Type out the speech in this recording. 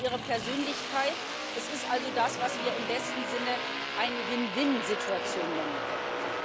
Sie entwickeln ihre Persönlichkeit es ist also das, was wir im besten Sinne eine Win-win-Situation nennen können.